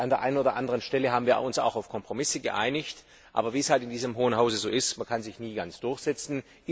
An der einen oder anderen Stelle haben wir uns auch auf Kompromisse geeinigt, denn wie es in diesem Hohen Hause eben ist, man kann sich nie ganz durchsetzen.